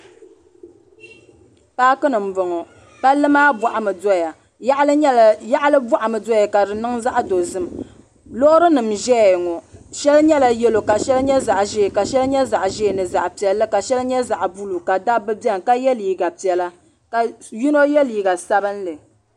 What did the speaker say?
Paaki ni m-bɔŋɔ palli maa bɔɣimi doya yaɣili bɔɣimi doya ka di niŋ zaɣ'dozim loorinima n-ʒeya ŋɔ shɛli nyɛla yelo ka shɛli nyɛ zaɣ'ʒee ka shɛli nyɛ zaɣ'ʒee ni zaɣ'piɛlli ka shɛli nyɛ zaɣ'buluu ka dabba beni ka ye liiga piɛla ka yino ye liiga sabinli.